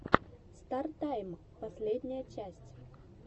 стар тайм последняя часть